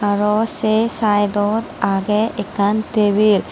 aro sey saidot agey ekkan tebil .